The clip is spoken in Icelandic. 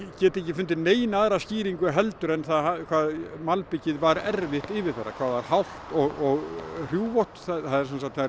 get ekki fundið neina aðra skýringu heldur en það hvað malbikið var erfitt yfirferðar hvað það var hált og hrjúfótt það